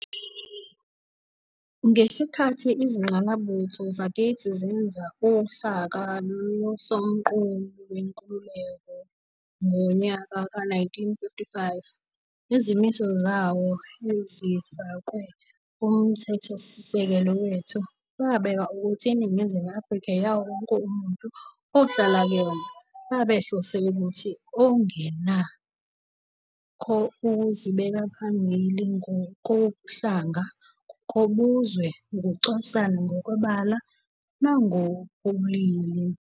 Ngesikhathi izingqalabutho zakithi zenza uhlaka loSomqulu Wenkululeko ngowe-1955, izimiso zawo ezifakwe kuMthethosisekelo wethu, babeka ukuthi iNingizimu Afrika eyawo wonke umuntu ohlala kuyona, babehlose umphakathi ongenako ukuzibeka phambili ngokobuhlanga, ngokobuzwe, ukucwasana ngokwebala nangokobulili.